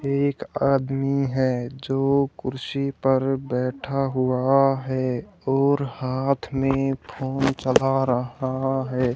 एक आदमी है जो कुर्सी पर बैठा हुआ है और हाथ में फोन चला रहा है।